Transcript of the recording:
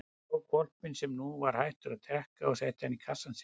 Hann tók hvolpinn sem nú var hættur að drekka og setti hann í kassann sinn.